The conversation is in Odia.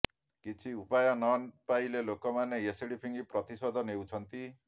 କିଛି ଉପାୟ ନ ପାଇଲେ ଲୋକମାନେ ଏସିଡ୍ ଫିଙ୍ଗି ପ୍ରତିଶୋଧ ନେଉଛନ୍ତି